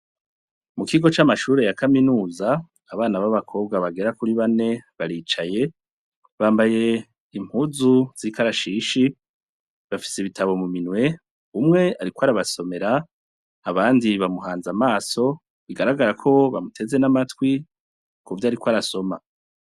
Mu kigo c'amashure ya kaminuza, abana b' abakobwa bagera kuri bane baricaye, bambaye impuzu z' ikarashishi, bafise ibitabo mu minwe, umwe ariko arabasomera, abandi bamuhanze amaso, bigaragara ko bamuteze n' amatwi, kuvyo ariko arasoma.